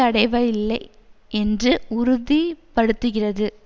அடைவஇல்லை என்று உறுதிபடுத்துகிறது